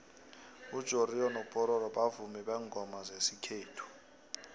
ujoriyo nopororo bavumi bengoma zesikhethu